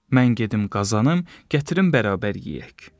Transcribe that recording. Mən gedim qazanım, gətirim bərabər yeyək.